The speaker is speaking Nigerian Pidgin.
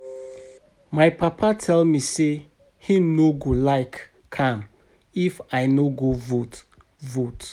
My papa tell me say he no go like am if I no go vote vote